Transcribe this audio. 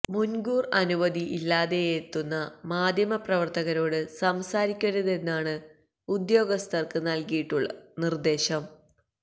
മുൻകൂർ അനുമതി ഇല്ലാതെയെത്തുന്ന മാദ്ധ്യമപ്രവർത്തകരോട് സംസാരിക്കരുതെന്നാണ് ഉദ്യോഗസ്ഥർക്ക് നൽകിയിട്ടുള്ള നിർദ്ദേശം